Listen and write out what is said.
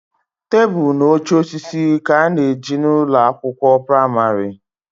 Tebụl na oche osisi ka a na ejina ụlọ akwụkwọ pramarị